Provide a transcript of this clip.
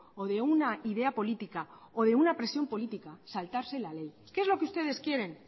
o de una idea política o de una presión política saltarse la ley qué es lo que ustedes quieren